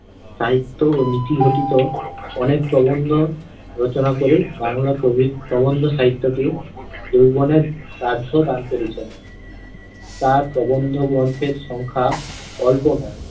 সাহিত্য ও নীতি গঠিত অনেক প্রবন্ধ রচনা করে বাংলা নবীন প্রবন্ধ সাহিত্যকে যৌবনের দান করেছেন। তাঁর প্রবন্ধ গ্রন্থের সংখ্যা অল্প নয়